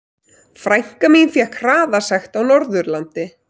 Frænka mín fékk hraðasekt á Norðurlandi.